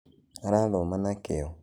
Arathoma na kĩo.